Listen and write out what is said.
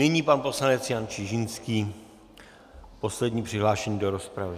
Nyní pan poslanec Jan Čižinský, poslední přihlášený do rozpravy.